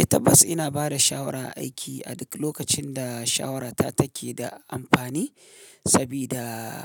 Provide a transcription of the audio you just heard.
Eh tabbas ina bada shawara aiki a duk lokacin da shawarata take da amfani. Sabida